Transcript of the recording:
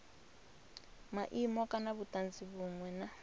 maimo kana vhutanzi vhunwe na